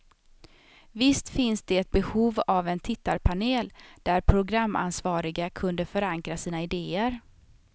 Visst finns det behov av en tittarpanel, där programansvariga kunde förankra sina idéer.